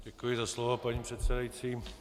Děkuji za slovo, paní předsedající.